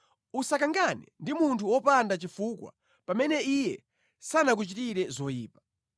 Usakangane ndi munthu wopanda chifukwa pamene iye sanakuchitire zoyipa.